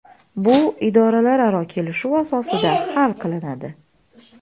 Bu idoralararo kelishuv asosida hal qilinadi.